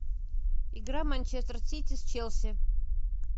игра манчестер сити с челси